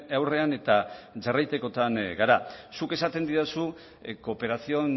aurrean eta jarraitzekotan gara zuk esaten didazu cooperación